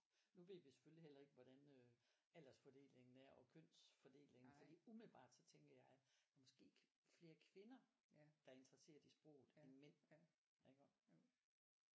Nu ved vi selvfølgelig heller ikke hvordan øh aldersfordelingen er og kønsfordelingen fordi umiddelbart så tænker jeg måske flere kvinder der er interesseret i sproget end mænd iggå